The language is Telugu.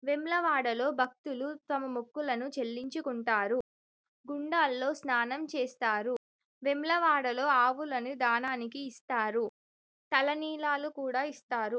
వేములవాడ లో భక్తులు తమ మొక్కులు చెల్లించుకుంటారు గుండాలలో స్నానాలు చేస్తారు. వేములవాడలో ఆవులనీ ధనానికి ఇస్తారు. తల నీలాలు కూడా ఇస్తారు.